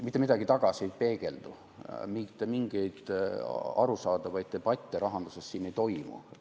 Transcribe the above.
Mitte midagi tagasi ei peegeldu, mitte mingeid arusaadavaid debatte rahanduses ei toimu.